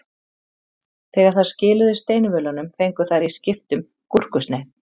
Þegar þær skiluðu steinvölunum fengu þær í skiptum gúrkusneið.